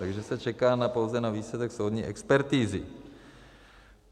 Takže se čeká pouze na výsledek soudní expertizy.